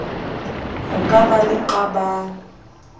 ho ka ba le qabang